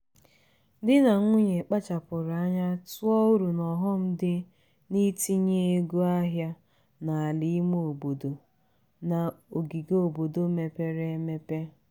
di na nwunye kpachapụrụ anya tụọ uru na ọghọm dị n'itinye ego ahịa n'ala ime obodo na ogige obodo mepere emepe.